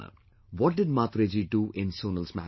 What did Mhatre Ji do in Sonal's marriage